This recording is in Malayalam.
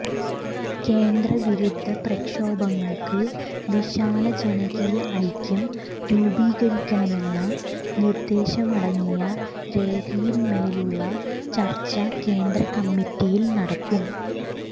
കേന്ദ്ര വിരുദ്ധ പ്രക്ഷോഭങ്ങൾക്ക് വിശാല ജനകീയ ഐക്യം രൂപീകരിക്കണമെന്ന നിർദ്ദേശമടങ്ങിയ രേഖയിൻമേലുള്ള ചർച്ച കേന്ദ്ര കമ്മിറ്റിയിൽ നടക്കും